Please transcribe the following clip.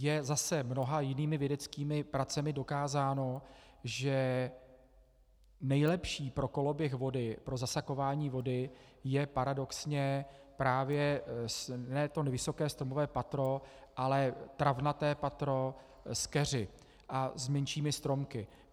Je zase mnoha jinými vědeckými pracemi dokázáno, že nejlepší pro koloběh vody, pro zasakování vody je paradoxně právě ne to vysoké stromové patro, ale travnaté patro s keři a s menšími stromky.